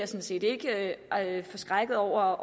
set ikke forskrækket over